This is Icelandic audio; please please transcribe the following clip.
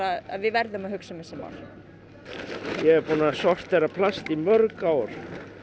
að við verðum að hugsa um þessi mál ég er búinn að sortera plast í mörg ár